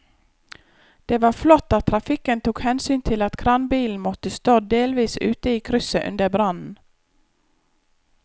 Det var flott at trafikken tok hensyn til at kranbilen måtte stå delvis ute i krysset under brannen.